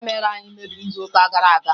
Kamera anyị mebiri n'izuụka gara aga